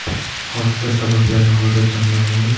Hodisa sabablari hozircha noma’lum.